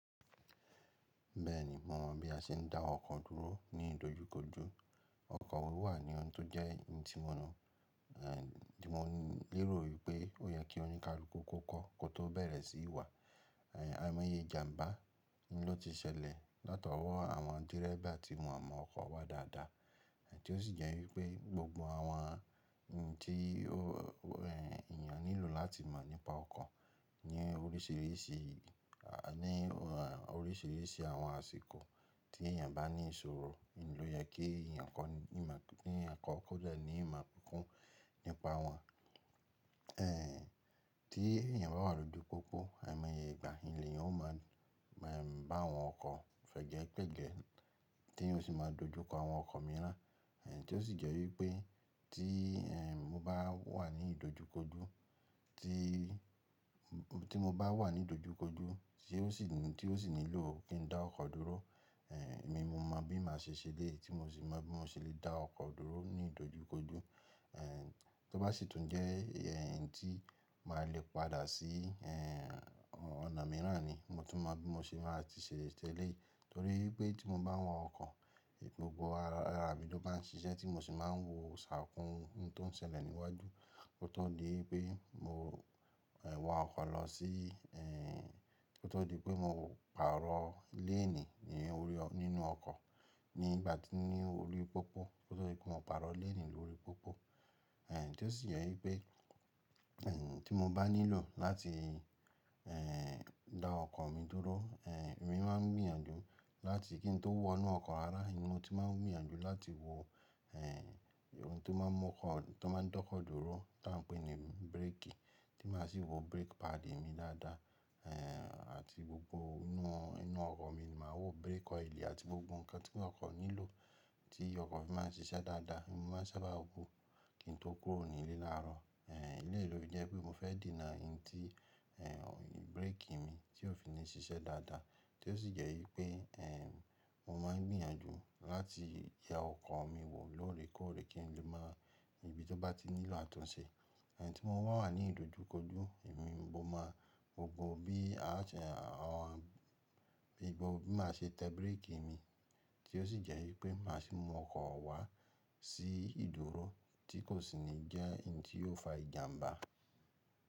Bẹ́ẹ̀ni mo mọ̀ bí a ṣe ń dá ọkọ̀ dúró ní ìdojúkojú. Ọkọ̀ òwò wà ní ohun tó jẹ́ ẹni tí mo mọ̀, eh, tí mo lè rò wípé ó yẹ kí oníkálukú kó kọ́ kó tó bẹ̀rẹ̀ sí í wà. Àìmọye ìjàmbá ló ti ṣẹlẹ̀ látọwọ́ àwọn dẹ́rẹ́bà tí wọ́n mọ̀ ọkọ̀ wa dáadáa. Tí ó sì jẹ́ wípé gbogbo àwọn ohun tí, ẹ, èèyàn nílò láti mọ̀ nípa ọkọ̀ ní oríṣìíríṣìí, à, ní oríṣìíríṣìí àwọn àsìkò tí èèyàn bá ní ìṣòro ló yẹ kí èèyàn kọ́ ní ìmọ̀, ní ẹ̀kọ́ kó jẹ́ ní ìmọ̀ púpọ̀ nípa wọn. Eh, bí èèyàn bá wà lòjú pópó, àìmọye ìgbà ni èèyàn ó máa, ẹm, bá àwọn ọkọ̀ fẹ̀jẹ́ pẹ̀jẹ́ tí ó sì máa dojú kọ àwọn ọkọ̀ mìíràn. Tí ó sì jẹ́ wípé tí, ẹ, mo bá wà ní ìdojúkojú tí, tí mo bá wà ní ìdojúkojú tí ó sì, tí ó sì nílò kí n dá ọkọ̀ dúró, eh, èmi mo mọ bí màá ṣe ṣẹ́lẹ̀ tí mo sì mọ bí mo ṣe lè dá ọkọ̀ dúró ní ìdojúkojú. Eh, tó bá sì tún jẹ́ ẹ̀yin tí màá le padà sí, ẹ, ọ̀nà mìíràn ni mo tún mọ bí mo ṣe máa ti ṣẹlẹ̀ tẹ́lẹ̀ torí pé tí mo bá wọ́n ọkọ̀ gbogbo ara, ara ibi tó bá ń ṣiṣẹ́ tí mo sì máa ń wo ṣàkún ohun tó ń ṣẹlẹ̀ níwájú kó tó di pé mo, ẹ, wa ọkọ̀ lọ sí, ẹ, kó tó di pé mo pàrọ̀ léènì nínú ọkọ̀ nígbà tí ní orí pópó kó tó di pé mo pàrọ̀ léènì lórí pópó. Eh, tí ó sì jẹ́ wípé, ẹ, tí mo bá nílò láti, ẹ, dá ọkọ̀ mi dúró, ẹ, èmi máa gbìyànjú láti kí n tó wọnú ọkọ̀ rara ẹni mo tí máa ń gbìyànjú láti wo, ẹ, ohun tí ó máa ń mọ́ ọkọ̀, tí ó máa ń dọ́kọ̀ dúró tá a ń pè ní bírèkì tí màá sì wo bírèkì páàdì mi dáadáa, eh, àti gbogbo inú, inú ọkọ̀ mi màá wo bírèkì ọ́ìlì àti gbogbo nǹkan tí ọkọ̀ nílò tí ọkọ̀ fi máa ń ṣiṣẹ́ dáadáa. Èmi máa ń sábà wo kí n tó kúrò ní ilé láàárọ̀. Eh, iléèló ni jẹ́ pé mo fẹ́ dènà ẹyin ti, ẹ, bírèkì mi tí ò fi lè ṣiṣẹ́ dáadáa tí ó sì jẹ́ wípé, ẹ, mo máa ń gbìyànjú láti ya ọkọ̀ mi wò lóòrèkóòrè kí n lè má a níbi tí ó bá ti nílò àtúnṣe. Ẹ̀yin tí mo bá wà ní ìdojúkojú èmi mo máa gbogbo bí a ṣe, ẹ, ìbọ bí máa ṣe tẹ bírèkì mi tí ó sì jẹ́ wípé màá sì mú ọkọ̀ wa sí ìdúró tí kò sì ní jẹ́ ẹyin tí yóò fa ìjàmbá.